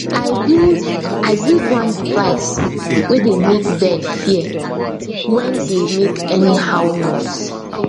i build i build one device way dey make bird fear when dey make anyhow noise